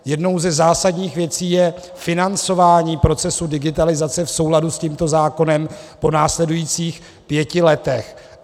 Jednou ze zásadních věcí je financování procesu digitalizace v souladu s tímto zákonem po následujících pěti letech.